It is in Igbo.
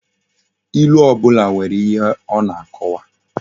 Ilu obula nwere ihe o na akowa